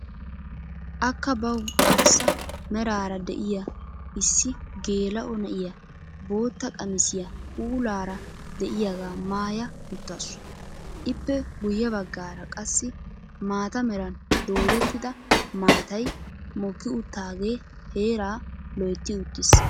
Akka bawu arssa meraara de'iyaa issi geela'o na'iyaa bootta qamisiyaa puulaara de'iyaagaa maayya uttaasu. ippe guyye baggaara qassi mata meran doodettida maataay mokki uttagee heeraa loytti uttiis.